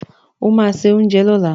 O ma se oúnjẹ lọ́la!